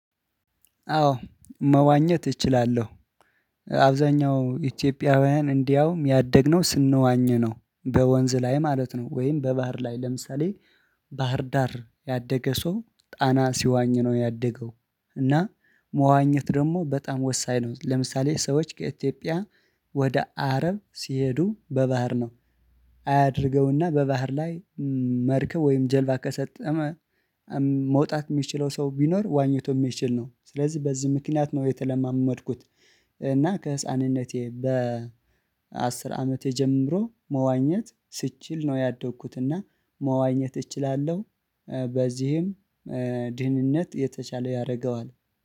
አዎ መዋኘት እችላለዉ። አብዛኛው ኢትዮጵያውያን እንዲያውም ያደግነው ስንዋኝ ነው። በወንዝ ላይ ማለት ነው። ወይም በባህር ላይ ለምሳሌ ባህር ዳር ያደገ ሰው ጣና ሲዋኝ ነው ያደገው። እና መዋኘት ደግሞ በጣም ወሳኝ ነው። ለምሳሌ ሰዎች ከኢትዮጵያ ወደ አረብ ሲሄዱ በባህር ነው። አያድርገውና በባህር ላይ መርከብ ወይም ጀልባ ከሰጠመ መውጣት የሚችለው ሰው ቢኖር ዋኝቶ የሚችል ነው። ስለዚህ በዚህ ምክንያት ነው የተለማመድኩት እና ከህፃንነቴ በ አስር አመቴ ጀምሮ መዋኘት ስችል ነው ያደኩት እና መዋኘት እችላለው። በዚህም ድህንነት የተቻለ ያረገዋል።